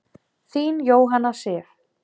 Þín, Jóhanna Sif.